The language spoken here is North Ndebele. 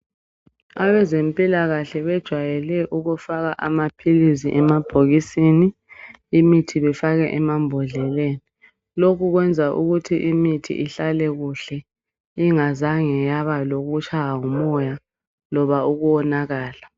Abezempilakahle bejwayele ukufaka amaphilizi emabhokisini, imithi befake emambhodleleni, lokhu kwenza ukuthi imithi ihlale kuhle ingazange yaba lokutshaywa ngumoya loba ukuwonakala.